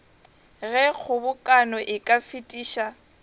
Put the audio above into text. ge kgobokano e ka fetiša